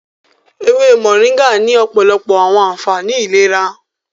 ewé Moringa ní òpòlopo àwọn ànfàní ìlera.